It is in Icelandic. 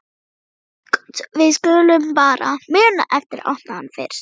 Við skulum bara muna eftir að opna hann fyrst!